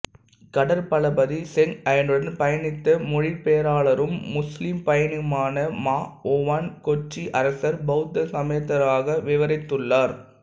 கடற்பளபதி Zheng ஹேயுடன் பயணித்த மொழிபெயர்ப்பாளரும் முசுலிம் பயணியுமான மா உவான் கொச்சி அரசர் பௌத்த சமயத்தவராக விவரித்துள்ளார்